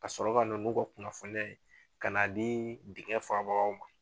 ka sɔrɔ na olu ka kunnafoniya ka na di dingɛ faabagaw ma.